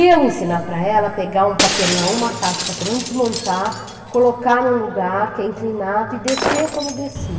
Eu ensinar para ela a pegar um papelão, uma caixa de papelão, desmontar, colocar em um lugar que é inclinado e descer como desci.